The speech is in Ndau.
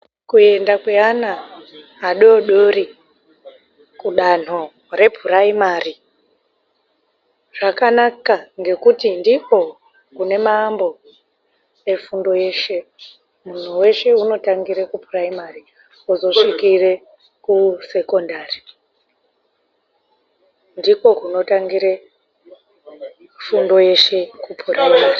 Kuenda kweana adodori kudanho repuraimari zvakanaka ngekuti ndiko kune maambo efundo yeshe, muntu weshe unotangire kupuraimari ozosvikire kusekondari ndiko kunatingire fundo yeshe kupuraimari.